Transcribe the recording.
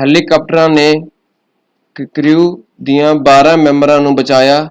ਹੈਲੀਕਾਪਟਰਾਂ ਨੇ ਕ੍ਰਿਊ ਦਿਆਂ ਬਾਰ੍ਹਾਂ ਮੈਂਬਰਾਂ ਨੂੰ ਬਚਾਇਆ